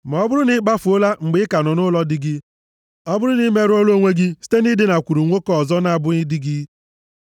Ma ọ bụrụ na ị kpafuola mgbe ị ka nọ nʼụlọ di gị, ọ bụrụ na i merụọla onwe gị site na idinakwuru nwoke ọzọ na-abụghị di gị,”